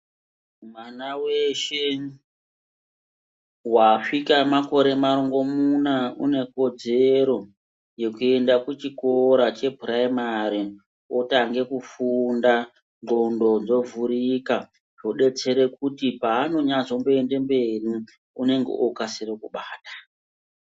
Mwana weshe wasvika makore marongomuna une kodzero yekuenda kuchikora chepuraimari otanga kufunda ndxondo dzovhurika zvodetsere kuti paanonyazomboende mberi unenge okasira kubata.